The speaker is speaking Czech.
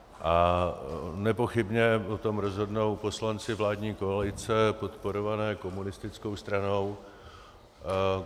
A nepochybně o tom rozhodnou poslanci vládní koalice podporované komunistickou stranou.